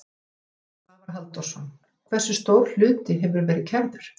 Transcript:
Svavar Halldórsson: Hversu stór hluti hefur verið kærður?